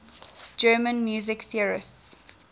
german music theorists